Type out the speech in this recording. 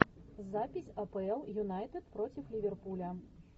запись апл юнайтед против ливерпуля